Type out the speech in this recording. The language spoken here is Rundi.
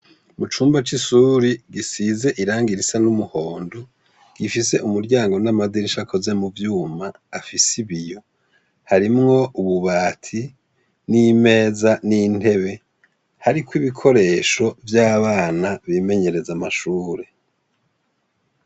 Mu cumba c'ishuri gisize irangi risa n'umuhondo gifise umuryango n'amadirisha akoze mu cuma afise ibiyo harimwo ububati n'imeza n'intebe hariko ibikoresho vy'abana bimenyereza amashuri.